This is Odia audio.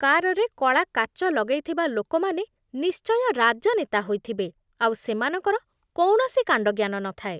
କାର୍‌ରେ କଳା କାଚ ଲଗେଇଥିବା ଲୋକମାନେ ନିଶ୍ଚୟ ରାଜନେତା ହୋଇଥିବେ ଆଉ ସେମାନଙ୍କର କୌଣସି କାଣ୍ଡଜ୍ଞାନ ନଥାଏ।